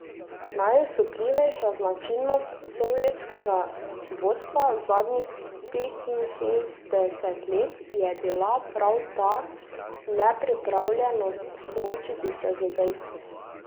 Najosupljivejša značilnost sovjetskega vodstva zadnjih petinšestdeset let je bila prav ta nepripravljenost soočiti se z dejstvi.